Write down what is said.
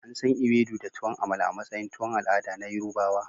Ansan Ewedu da tuwon amala a matsayin tuwon al'ada na yarubawa.